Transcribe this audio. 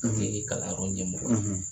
ye kalanyɔrɔ ɲɛmɔgɔ ye